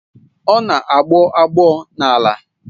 Ọ na-agbọ agbọ n'ala